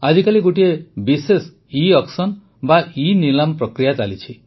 ଆଜିକାଲି ଗୋଟିଏ ବିଶେଷ ଇଅକ୍ସନ ବା ଇନିଲାମ ପ୍ରକ୍ରିୟା ଚାଲିଛି